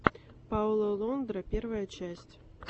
пауло лондра первая часть